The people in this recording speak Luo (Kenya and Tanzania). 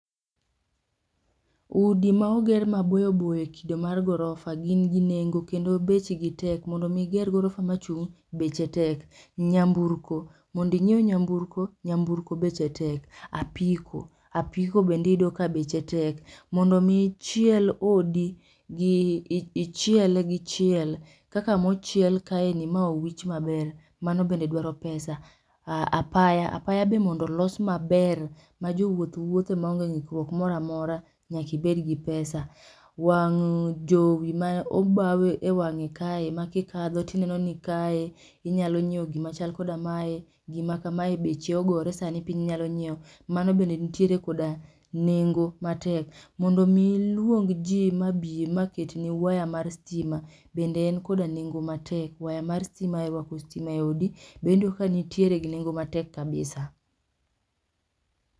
Udi ma oder maboyoboyo e kido mar gorofa gin gi nengo kendo nengo gi tek ,mondo mi iger gorofa machung' beche tek, nyamburko, momdo inyiew nyamburko beche tek, apiko aiko bende iyudo ka beche tek ,mondo mi ichiel odi ichiele gi chiel kaka mochiel kaeni mowich maber mano bende dwaro pesa. Apaya apaya be mondo olos maber ma jowuoth wuothe ma ong'e ng'ikruok moro amora nyaka ibed gi pesa, wang' jowi ma obaw e wang'e kae maki katho tineno ni inyalo nyiewo gima chal koda mae, gima kamae beche ogore sani piny nyalo nyiewo mano bende nitiere koda nengo mondo mi iluong' ji mabi maket ni wire mar sitima bende en koda nengo matek ,wire mar stima ruako sitima e odi wayudo kani tiere gi nengo matek kabisa